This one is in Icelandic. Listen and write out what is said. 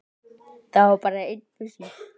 Það var bara einn busi!